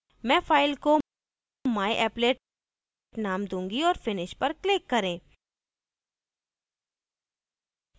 मैं फाइल को myapplet name दूँगी और finish पर click करें